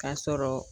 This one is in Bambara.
K'a sɔrɔ